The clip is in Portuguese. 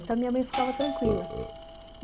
Então, a minha mãe ficava tranquila.